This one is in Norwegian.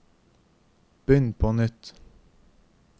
begynn på nytt